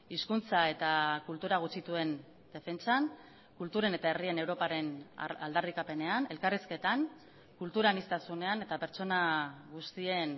hizkuntza eta kultura gutxituen defentsan kulturen eta herrien europaren aldarrikapenean elkarrizketan kultura aniztasunean eta pertsona guztien